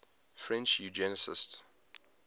french eugenicists